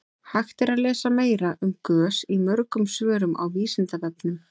hægt er að lesa meira um gös í mörgum svörum á vísindavefnum